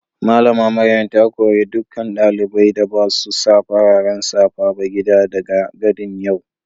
Mallama Maryam ta kore dukan dalibain da basu sa fararen safa ba gida daga gati'n yau.